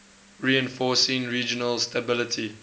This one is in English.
reinforcing regional stability